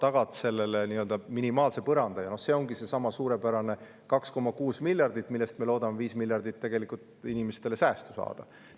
Ja selleks ongi seesama suurepärane 2,6 miljardit, millega me loodame inimestele 5 miljardit säästu saada.